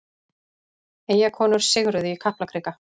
Eyjakonur sigruðu í Kaplakrika